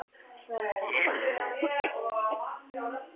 hrópar Edda upp yfir sig.